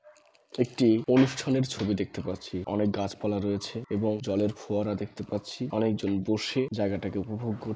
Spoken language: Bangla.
একটি অনুষ্ঠানের ছবি দেখতে পারছি। অনেক গাছপালা রয়েছে এবং জলের ফোয়ারা দেখতে পাচ্ছি। অনেকজন বসে জায়গাটাকে উপভোগ কর--